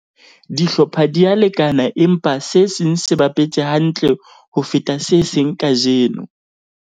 dihlopha di a lekana empa se seng se bapetse hantle ho feta se seng kajeno